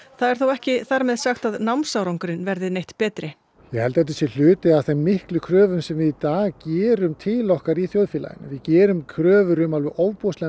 það er þó ekki þar með sagt að námsárangurinn verði neitt betri ég held að þetta sé hluti af þeim miklu kröfum sem við í dag gerum til okkar í þjóðfélaginu við gerum kröfur um ofboðslega